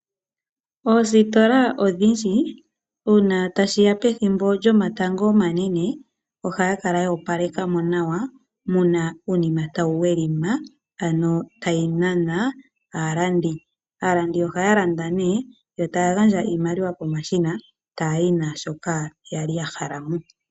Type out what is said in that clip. Oositola odhindji uuna tashiya pethimbo lyomatango omanene ohaya kala yoopaleka mo nawa muna uunima tawu welima ano tayi nana aalandi . Aalandi ohaya landa ne yo taya gandja iimaliwa pomashina taya yi naashoka yali ya hala mo.